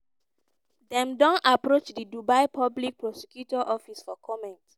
dem don approach di dubai public prosecutor office for comment.